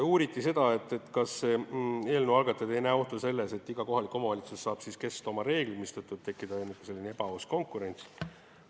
Uuriti seda, kas eelnõu algatajad ei näe ohtu, et iga kohalik omavalitsus saab kehtestada oma reeglid, mistõttu võib tekkida ebaaus konkurents.